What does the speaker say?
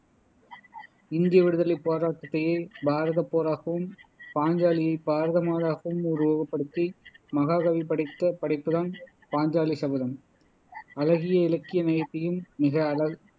இந்திய விடுதலைப் போராட்டத்தையே பாரதப் போராகவும் பாஞ்சாலியை பாரத மாதாவாகவும் உருவகப்படுத்தி மகாகவி படைத்த படைப்புதான் பாஞ்சாலி சபதம் அழகிய இலக்கிய நயத்தையும் மிக அழ